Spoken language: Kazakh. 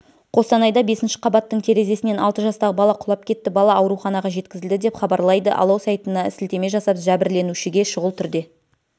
қостанайда бесінші қабаттың терезесінен алты жастағы бала құлап кетті бала ауруханаға жеткізілді деп хабарлайды алау сайтына сілтеме жасап жәбірленушіге шұғыл түрде